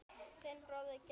Þinn bróðir, Gestur.